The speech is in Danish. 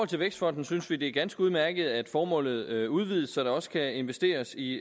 til vækstfonden synes vi at det er ganske udmærket at formålet udvides så der også kan investeres i